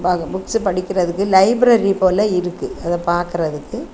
வாங்க புக்ஸ்சு படிக்கிறதுக்கு லைப்ரரி போல இருக்கு அத பாக்குறதுக்கு.